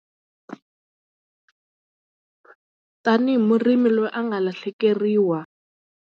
Tanihi murimi loyi a nga lahlekeriwa.